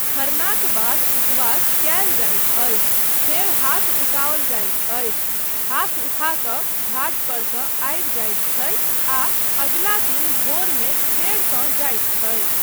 खरनाक बाद उपवास कयल जाइत अछि फेर हाथ उठाओल जाइत अछि, हाथ उठा कऽ घाट पर सँ आबि जाइत छथि आ अगिला दिन भोरमे फेरसँ जाइत छथि।